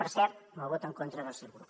per cert amb el vot en contra del seu grup